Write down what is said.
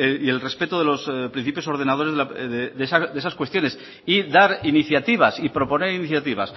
y el respeto de los principios ordenadores de esas cuestiones y dar iniciativas y proponer iniciativas